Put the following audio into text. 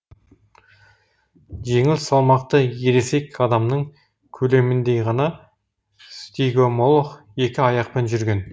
жеңіл салмақты ересек адамның көлеміндей ғана стигомолох екі аяқпен жүрген